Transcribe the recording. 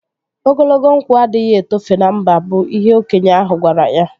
Ogologo nkwụ adịghị etofe na mba bụ ihe okenye ahụ gwara ya